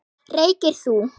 Reykir þú?